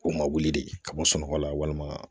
K'o ma wuli de ka bɔ sunɔgɔ la walima